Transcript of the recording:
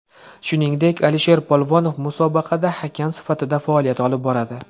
Shuningdek, Alisher Polvonov musobaqada hakam sifatida faoliyat olib boradi.